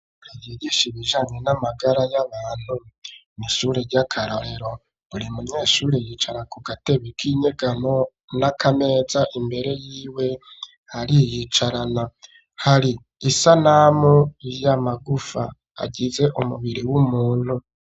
Buri yigisha ibijanye n'amagara y'abantu mishure ry'akarorero buri munyeshure yicara ku gatebi k'inyegano n'akameza imbere yiwe hari yicarana hari isanamu y'amagufa agize umubiri w'umuntu.